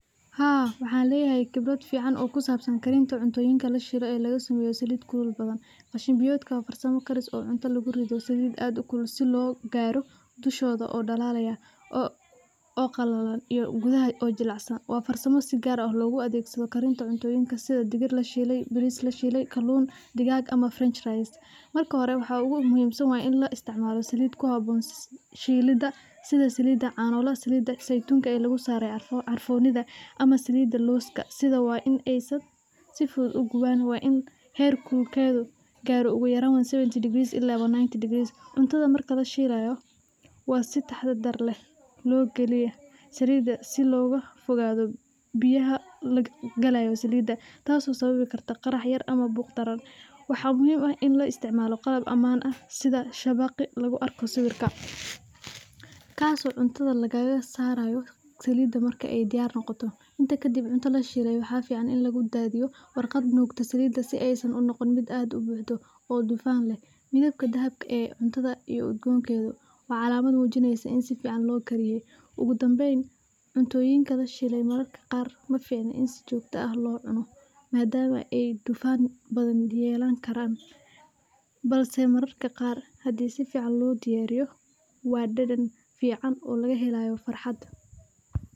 Haa waxaleetahay qebrat fican oo kusabsan karinta cuntoyinga la sheeloh, ee lagasameyoh salit kulul qasheen biyootka biyootka oo salit aad u kulul si lokabiyoh tushotha oo dalalayah oo qalab iyoh biyaha jelecsan wa farsamada si kaar aah logu adegsadoh karinta cuntoyinga sitha baris la sheelay kalunka degaga amah israleyst , marka hori wa in la isticmaloh salit kuhaboon shelada stha Salida canaha saytunga lagu saroh carfiun, amah Salida looska setha wa in sufuthut u guban wa in hegatha garoh ugu yaran 70 degress ila 190 degree ,cuntaha marka laghelayoh wasitaxadarleh lokaliyah Salida si loga fogathoh biyaha galayoh bariska, taaso sababi kartah qarax yar amah burbur biyaha ini la isticmaloh qalab casri aah setha shaba debaqa lagu arkoh sawerka kaso marka cuntaha diyaar noqotoh kadib marki cunta lasheeloh waxafican ini la isticmaloh warqad nugtoh Salida unoqon mid aa u buxdih oo noqon mithebka dhabkas cuntatha udgoontotha wa calamatha mujineysah ini sifican lo kariye, ugubdambeyn cuntoyinga lashelay maficno mararka qaar ini si jokta aah locunoh madama ay dufaan yelani Karan balse mararaka Qaar handi sifican lo diyariyho wa dadn fican oo laghelayoh farxaada.